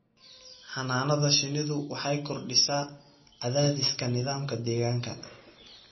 Xannaanada shinnidu waxay kordhisaa cadaadiska nidaamka deegaanka.